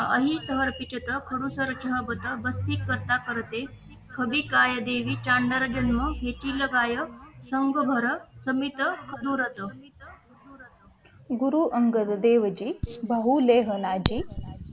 खडूस चरसह बत बस्ती करता करते खबी काय देवी चांडरजन्म हे तील गायब संघभर समिति कुदुरत गुरु अंगद देव जी बहुलेख नाजी